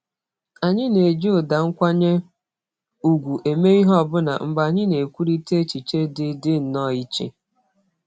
Anyị na-eji ụda nkwanye ùgwù eme ihe ọbụna mgbe anyị na-ekwurịta echiche dị dị nnọọ iche